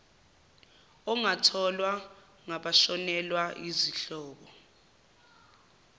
ongatholwa ngabashonelwa yizihlobo